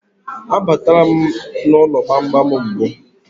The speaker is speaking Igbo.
A batala m n'ụlọ gbamgbam mbụ.